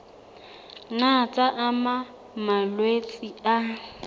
nna tsa ama malwetse a